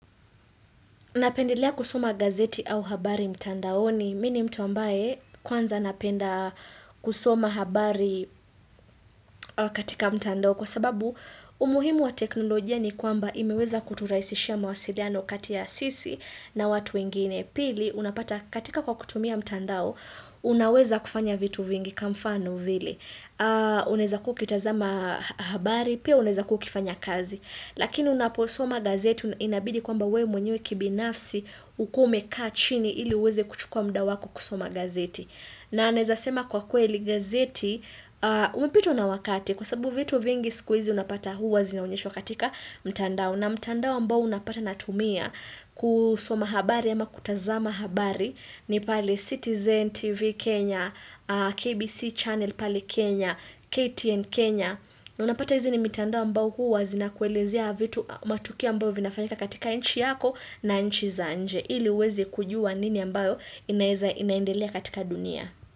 Napendelea kusoma gazeti au habari mtandaoni mi ni mtu ambaye kwanza napenda kusoma habari katika mtandao kwa sababu umuhimu wa teknolojia ni kwamba imeweza kuturahisishia mwasiliano kati ya sisi na watu wengine. Pili, unapata katika kwa kutumia mtandao, unaweza kufanya vitu vingi kamfano vile. Unaeza kukitazama habari, pia unaeza kuwa ukifanya kazi. Lakini unaposoma gazeti inabidi kwamba we mwenyewe kibinafsi ukuwe umekaa chini ili uweze kuchukua muda wako kusoma gazeti. Na naezasema kwa kweli gazeti, umepitwa na wakati kwa sababu vitu vingi sikuizi unapata huwa zina unyeshwa katika mtandao. Na mtandao ambao unapata natumia kusoma habari ama kutazama habari ni pale Citizen TV Kenya, KBC Channel pale Kenya, KTN Kenya. Unapata hizi ni mtandao ambao huwa zina kuelezea vitu matukio ambavyo vinafanyika katika inchi yako na inchi za nje. Hili uweze kujua nini ambayo inaendelea katika dunia.